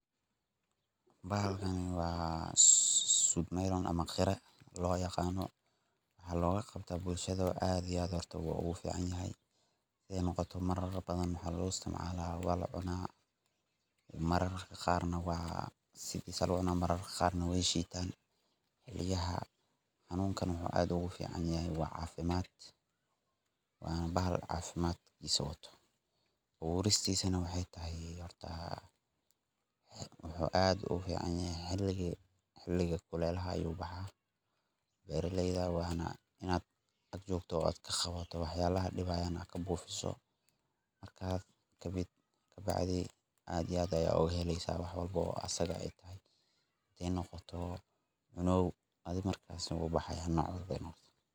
Bahalkan waa sud melon ama qira lo yaqano waxaa loga qabtaa bulshaada aad ayu wax ogu tara, aburistisana xiliga kulelaha ayu baxa, marka had Rabin aad iyo aad aya oga heleysa hadee noqoto cunow.